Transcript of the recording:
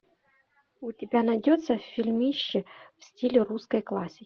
у тебя найдется фильмище в стиле русской классики